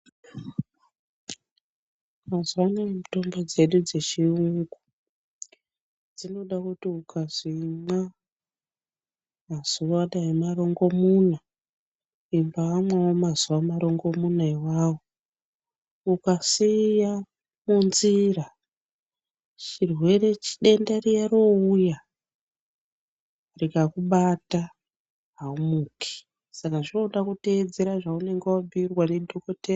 Mazuva anaya mitombo dzedu dzechiyungu, dzinoda kuti ukazi imwa mazuva dai marongomuna, imbamwawo mazuva marongomuna iwawo. Ukasiya munzira, chirwere-denda riya rouya, rikakubata haumuki. Saka zvinoda kuteedzera zvaunenge wabhuyirwa ndidhokotera.